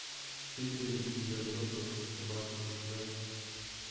педигри для взрослых собак заказать